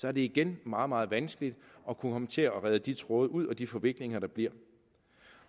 er det igen meget meget vanskeligt at kunne komme til at rede de tråde ud og håndtere de forviklinger der bliver